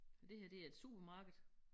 Og det her det er et supermarked